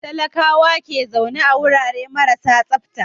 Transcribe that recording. Talakawa ke zaune a wurare marasa tsafta.